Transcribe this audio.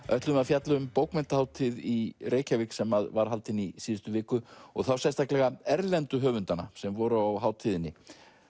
ætlum við að fjalla um bókmenntahátíð í Reykjavík sem var haldin í síðustu viku og þá sérstaklega erlendu höfundana sem voru á hátíðinni